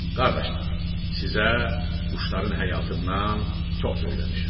Qardaşlar, sizə quşların həyatından çox söyləmişəm.